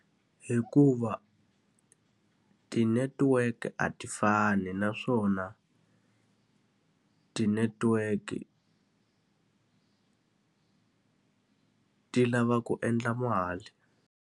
Hikuva ti-network-e a ti fani naswona, ti-network ti lava ku endla mali.